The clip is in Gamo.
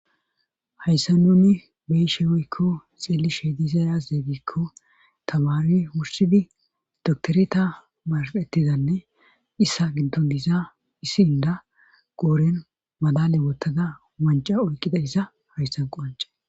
hayssan nuni beyishe woykko xeeli she dizayaazzegiikko tamari wursidi doktoreta marfettizanne issa ginton diisza issi inda qooren madale wottada manca oyqqida isa hayssan qoanca